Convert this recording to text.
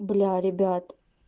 бля ребят